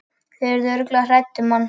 Þau yrðu örugglega hrædd um hann.